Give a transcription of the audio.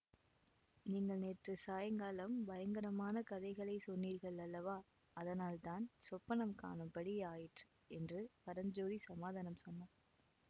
நீங்கள் நேற்றுச் சாயங்காலம் பயங்கரமான கதைகளை சொன்னீர்கள் அல்லவா அதனால்தான் சொப்பனம் காணும்படி ஆயிற்று என்று பரஞ்சோதி சமாதானம் சொன்னான்